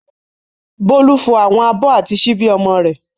Bólú fọ àwọn abọ́ àti ṣíbí ọmọ rẹ̀.